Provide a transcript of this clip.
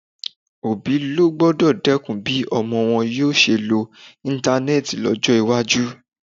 Òbí ló gbọ́dọ̀ dẹ́kun bí ọmọ wọn yóò ṣe lo Íńtánẹ́ẹ̀tì lọ́jọ́ iwájú.